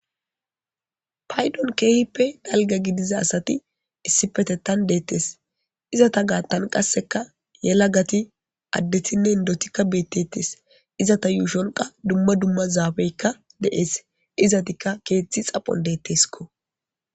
Paydon keehippe dalgga gidiza asati issipetettan deettes. Izatan gaattan qassekka yalagati addetinne inddoti beetettes. Izata yuushon qa dumma dumma zaafeykka dees. Izatikka keethi xaphon deeskko.